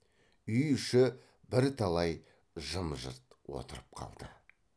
үй іші бірталай жым жырт отырып қалды